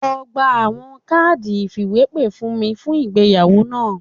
Lọ gba awọn kaadi ifiwepe fun mi fun igbeyawo naa